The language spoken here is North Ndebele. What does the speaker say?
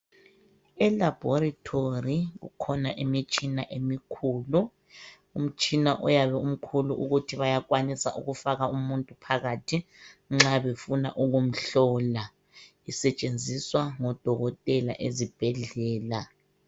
ELaboratory kukhona imitshina emikhulu. Umtshina oyabe umkhulu ukuthi bayakwanisa ukufaka umuntu phakathi nxa befuna ukumhlola. Isetshenziswa ngodokotela ezibhedlela.